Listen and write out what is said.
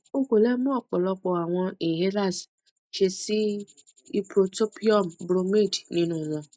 o ko le mu ọpọlọpọ awọn inhalers ṣe si ipotropium bromide ninu wọn